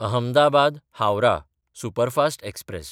अहमदाबाद–हावराह superfast express